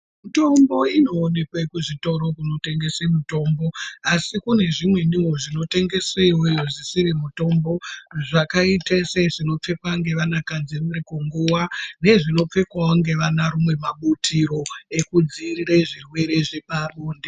Mitombo inoonekwe kuzvitoro kunotengese mitombo asi kune zvimweniwo zvinotengese iyoyo zvisiri mitombo zvakaita sezvinopfekwa ngevanakadzi vari kunguwa nezvinopfekwa ngevanarume mabutiro ekudzivirire zvirwere zvepabonde.